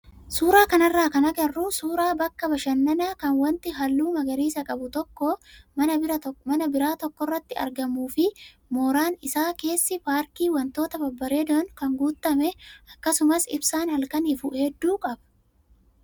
Suuraa kanarraa kan agarru suuraa bakka bashannanaa kan wanti halluu magariisa qabu tokko mana biraa tokkorratti argamuu fi mooraan isaa keessi paarkii wantoota babbareedoon guutame akkasumas ibsaa halkan ifu hedduu qaba.